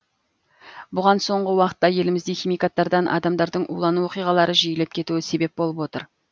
бұған соңғы уақытта елімізде химикаттардан адамдардың улану оқиғалары жиілеп кетуі себеп болып отыр